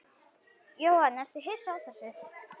Jóhann: Ertu hissa á þessu?